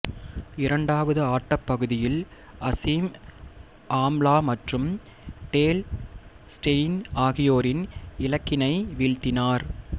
இரண்டாவது ஆட்டப் பகுதியில் அசீம் ஆம்லாமற்றும் டேல் ஸ்டெய்ன் ஆகியோரின் இலக்கினை வீழ்த்தினார்